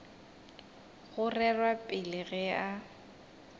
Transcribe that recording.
go rerwa pele ge e